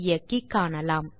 ஐ இயக்கி காணலாம்